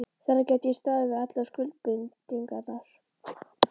Þannig gæti ég staðið við allar skuldbindingar.